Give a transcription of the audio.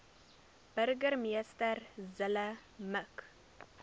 burgemeester zille mik